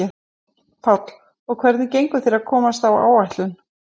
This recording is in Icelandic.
Páll: Og hvernig gengur þér að komast á áætlun?